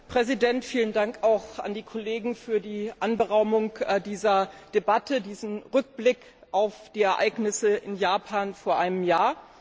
Herr Präsident! Vielen Dank auch an die Kollegen für die Anberaumung dieser Debatte, diesen Rückblick auf die Ereignisse in Japan vor einem Jahr.